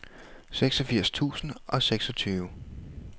seksogfirs tusind og seksogtyve